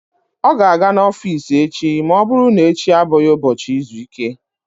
Ọ ga-aga n'ọfiisi echi ma ọ bụrụ na echi abụghị ụbọchị izu ike.